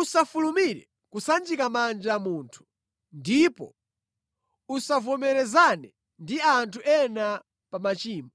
Usafulumire kusanjika manja munthu, ndipo usavomerezane ndi anthu ena pa machimo.